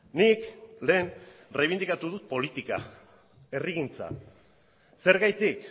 nik lehen erreibindikatu dut politika herrigintza zergatik